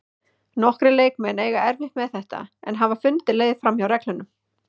Nokkrir leikmenn eiga erfitt með þetta en hafa fundið leið framhjá reglunum.